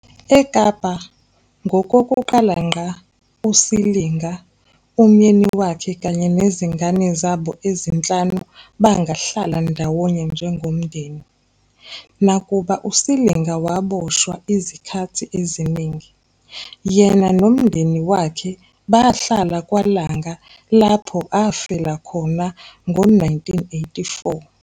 EKapa, ngokokuqala ngqa, uSilinga, umyeni wakhe kanye nezingane zabo ezinhlanu bangahlala ndawonye njengomndeni. Nakuba uSilinga waboshwa izikhathi eziningi, yena nomndeni wakhe bahlala kwaLanga lapho afela khona ngo-1984